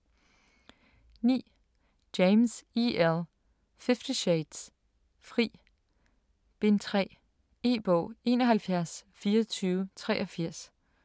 9. James, E. L.: Fifty shades: Fri: Bind 3 E-bog 712483